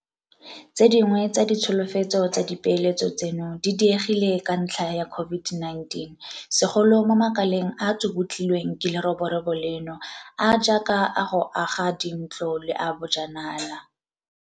Tse dingwe tsa ditsholofetso tsa dipeeletso tseno di diegile ka ntlha ya COVID-19, segolo mo makaleng a a tsubutlilweng ke leroborobo leno a a jaaka a go aga dintlo le a bojanala.